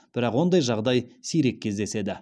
бірақ ондай жағдай сирек кездеседі